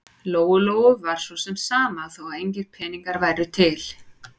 Lóu-Lóu var svo sem sama þó að engir peningar væru til.